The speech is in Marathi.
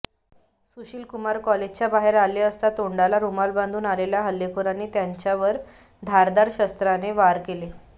सुशीलकुमार कॉलेजच्या बाहेर आले असता तोंडाला रुमाल बांधून आलेल्या हल्लेखोरांनी त्याच्यावर धारधार शस्त्राने वार केले